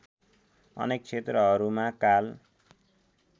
अनेक क्षेत्रहरूमा काल